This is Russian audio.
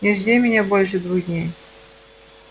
не жди меня больше двух дней